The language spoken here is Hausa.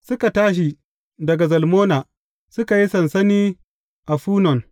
Suka tashi daga Zalmona, suka yi sansani a Funon.